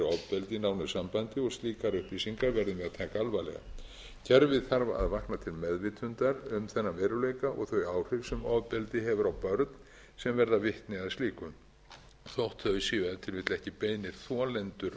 fyrir ofbeldi nánu sambandi og slíkar upplýsingar verður að taka alvarlega kerfið þarf að vakna til meðvitundar um þennan veruleika og þau áhrif sem ofbeldi hefur á börn sem verða vitni að slíku þótt þau séu ef til vill ekki beinir þolendur ofbeldis sjálf